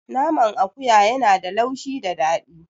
Naman akuya ya na da laushi da daɗi